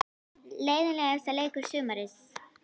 Leiðinlegasti leikur sumarsins?